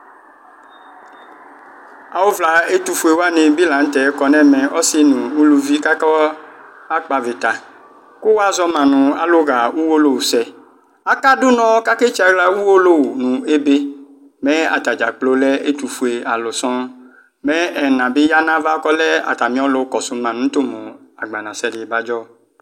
awʋ vla ɛtʋƒʋɛ wani bi lantɛ kɔnʋ ɛmɛ, ɔsii nʋ ʋlʋvi kʋ aka kpɔ avita kʋ wazɔma nʋ alʋ ha ɔwɔlɔwʋ sɛ, aka dʋnɔ kʋ aka tsiala ka ɔwɔlɔwʋ nʋ ɛbɛ, mɛ atagya gblɔɔ lɛ ɛtʋƒʋɛ alʋ sɔɔn, mɛ ɛna bi yanʋ aɣa kɔlɛ atami ɔlʋ kɔsʋ tʋ mʋ agbana sɛ di bajɔ